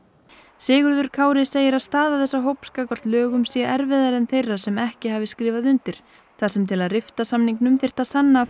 Sigurður Kári segir að staða þessa hóps gagnvart lögum sé erfiðari en þeirra sem ekki hafi skrifað undir þar sem til að rifta samningnum þyrfti að sanna að